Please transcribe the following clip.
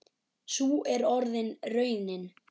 Sú er orðin raunin.